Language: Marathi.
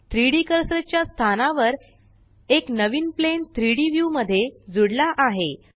3डी कर्सर च्या स्थानावर एक नवीन प्लेन3D व्यू मध्ये जूड्ला आहे